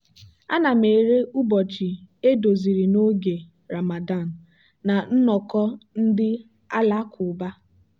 ana m ere ụbọchị edoziri n'oge ramadan na nnọkọ ndị alakụba.